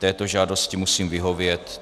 Této žádosti musím vyhovět.